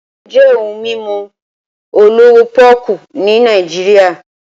Emu jẹ́ ohun mímu olówó pọ́ọ́kú ní Nàìjíríà